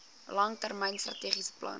langtermyn strategiese plan